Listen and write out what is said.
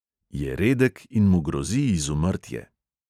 Je redek in mu grozi izumrtje.